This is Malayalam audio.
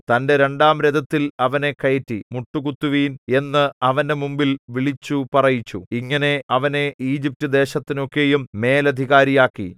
തന്റെ രണ്ടാം രഥത്തിൽ അവനെ കയറ്റി മുട്ടുകുത്തുവിൻ എന്ന് അവന്റെ മുമ്പിൽ വിളിച്ചു പറയിച്ചു ഇങ്ങനെ അവനെ ഈജിപ്റ്റുദേശത്തിനൊക്കെയും മേലധികാരിയാക്കി